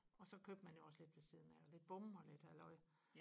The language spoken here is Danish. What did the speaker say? og så købte man jo også lidt ved siden af og lidt bom og lidt halløj